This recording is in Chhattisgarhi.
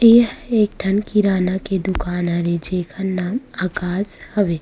ये एक ठन किराना के दुकान हरे जेखर नाम आकाश हवे |